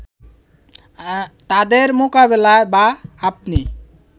তাদের মোকাবিলাই বা আপনি